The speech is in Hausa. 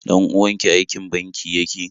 Ɗan uwanki aikin banki yake?